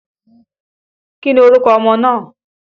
Kí ni orúkọ ọmọ náà?